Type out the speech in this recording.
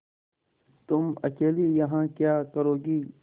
तुम अकेली यहाँ क्या करोगी